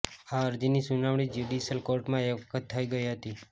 આ અરજીની સુનાવણી જયુડીશયલ કોર્ટમાં એક વખત થઈ ગઈ હતી